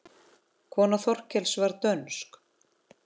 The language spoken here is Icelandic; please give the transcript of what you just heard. Kona Þorkels var dönsk.